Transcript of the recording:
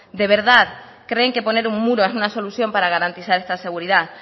de verdad creen que poner un muro es una solución para garantizar esta seguridad